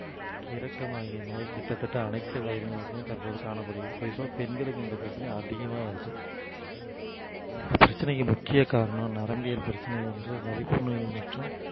நோய் கிட்டத்தட்ட அனைத்து வயதினருக்குமே தற்போது காணப்படுகிறது குறிப்பா பெண்களுக்கு இந்த பிரச்சனை அதிகமாக வருது பிரச்சனைக்கு முக்கிய காரணம் நரம்பியல் பிரச்சனை என்று வலிப்பு நோய் மற்றும்